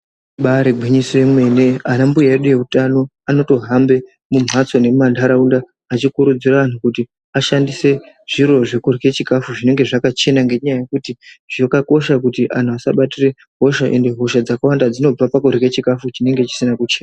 Ibaari gwinyiso yemene anambuya edu eutano anotohambe mumbatso nemumandaraunda echikurudzira antu kuti ashandise zviro zvokurye chikafu zvinenge zvakachena ngenyaya yekuti zvakakosha kuti anhu asabatire hosha ende hosha dzakawanda dzinobva pakurye chikafu chinenge chisina kuche...